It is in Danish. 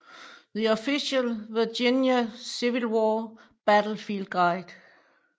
The Official Virginia Civil War Battlefield Guide